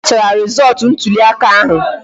A kachara rizootu ntụli aka ahụ